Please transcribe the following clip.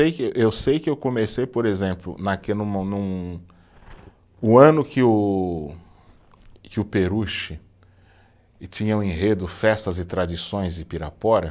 que, eu sei que eu comecei, por exemplo, no, o ano que o, que o Peruche, e tinha o enredo Festas e Tradições de Pirapora.